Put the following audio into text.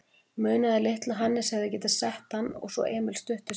Munaði litlu að Hannes hefði getað sett hann og svo Emil stuttu síðar.